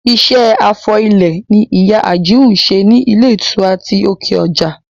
Iṣẹ́ afọ ilẹ̀ ni ìyá Àjìún ń ṣe ní ilé ìtura ti òkè ọjà